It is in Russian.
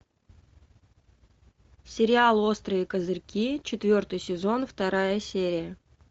сериал острые козырьки четвертый сезон вторая серия